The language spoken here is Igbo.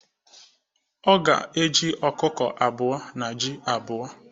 Ọ ga-eji ọkụkọ abụọ na ji abuo.